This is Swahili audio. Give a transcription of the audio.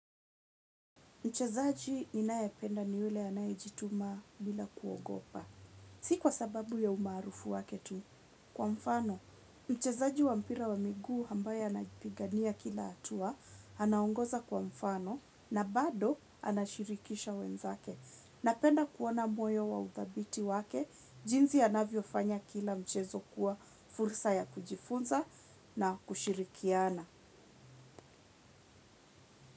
Mchezaji ninayependa ni yule anayejituma bila kuogopa. Si kwa sababu ya umaarufu wake tu. Kwa mfano, mchezaji wa mpira wa miguu ambaye anapigania kila hatua, anaongoza kwa mfano na bado anashirikisha wenzake. Napenda kuona moyo wa udhabiti wake, jinsi anavyofanya kila mchezo kuwa fursa ya kujifunza na kushirikiana.